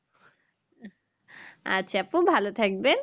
আচ্ছা আপু ভালো থাকবেন